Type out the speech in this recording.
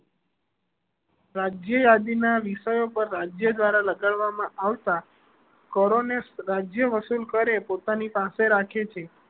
રાજ્ય આદિ ના વિષયો પર રાજ્યો દ્વારા લગાડવા માં આવતા કરો એ રાજ્યો વસૂલ કરે કે તે પોતાની પાસે રાખે છે